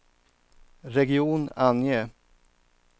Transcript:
region, ange